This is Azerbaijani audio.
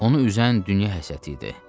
Onu üzən dünya həsəti idi.